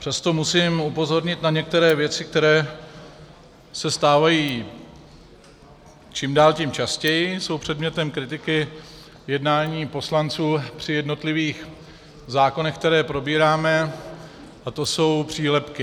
Přesto musím upozornit na některé věci, které se stávají čím dál tím častěji, jsou předmětem kritiky jednání poslanců při jednotlivých zákonech, které probíráme, a to jsou přílepky.